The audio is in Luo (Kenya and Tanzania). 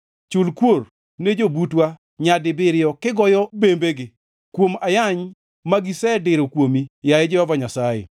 Chul kuor ne jobutwa nyadibiriyo kigoyo bembegi. Kuom ayany ma gisediro kuomi, yaye Jehova Nyasaye.